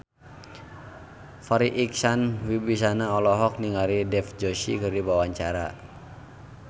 Farri Icksan Wibisana olohok ningali Dev Joshi keur diwawancara